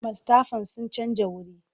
Mastafan sun canja wuri.